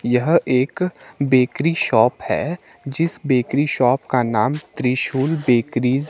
यह एक bakery shop है जिस बेकरी शॉप का नाम त्रिशूल बेकरीज --